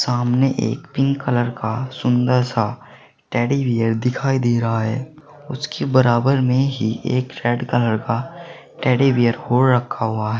सामने एक pink colour का सुंदर सा टेडी बियर दिखाई दे रहा है उसके बराबर में ही एक रेड कलर का टेडी बियर और रखा हुआ है।